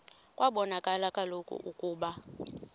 kwabonakala kaloku ukuba